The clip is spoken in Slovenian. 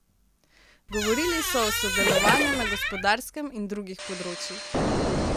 Govorili so o sodelovanju na gospodarskem in drugih področjih.